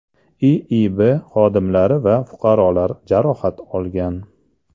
IIB xodimlari va fuqarolar jarohat olgan.